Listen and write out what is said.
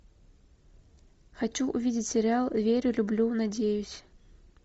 хочу увидеть сериал верю люблю надеюсь